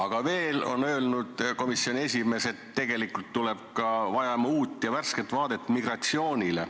Aga veel on öelnud komisjoni president, et me vajame uut ja värsket vaadet migratsioonile.